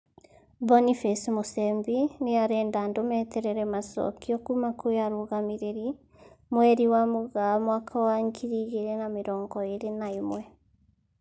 Boniface Musembi nĩarenda andũ meterere macokio kuma kwĩ arũgamĩrĩri, mweri wa Mũgaa mwaka wa ngiri igĩrĩ na mĩrongo ĩrĩ na ĩmwe